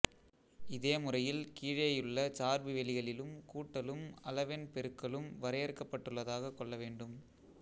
இதே முறையில் கீழேயுள்ள சார்பு வெளிகளிலும் கூட்டலும் அளவெண் பெருக்கலும் வரையறுக்கப்பட்டதாகக் கொள்ள வேண்டும்